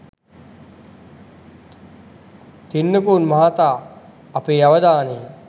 තෙන්නකෝන් මහතා අපේ අවධානය